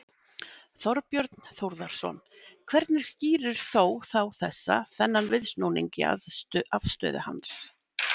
Þorbjörn Þórðarson: Hvernig skýrir þó þá þessa, þennan viðsnúning í afstöðu hans?